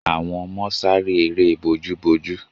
Àwọn ọmọ sare eré bojú bojú